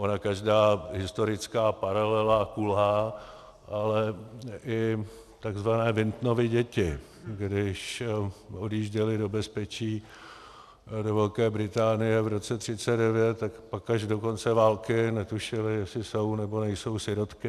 Ona každá historická paralela kulhá, ale i tzv. Wintonovy děti, když odjížděly do bezpečí do Velké Británie v roce 1939, tak pak až do konce války netušily, jestli jsou, nebo nejsou sirotky.